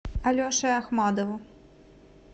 алеше ахмадову